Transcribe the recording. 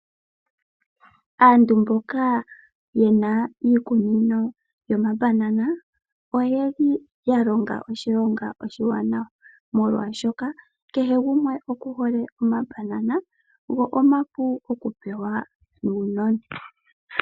Aantu mboka yena iikunino yomambanana oye li ya longa oshilongo oshiwanawa molwashoka kehe gumwe okuhole omabanana go omapu okupewa uunona.